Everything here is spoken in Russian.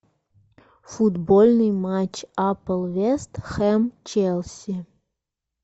футбольный матч апл вест хэм челси